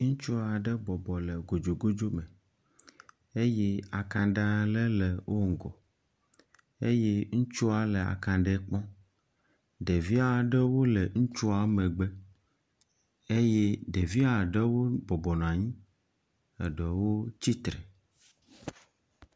Ŋutsu aɖe bɔbɔ nɔ kodzokodzo me eye akaɖe aɖe le wo ŋgɔ, ŋutsua nɔ akaɖe kpɔm, ɖevi aɖewo le ŋutsu megbe eye ɖevi eɖewo bɔbɔ nɔ anyi eɖewo tsitre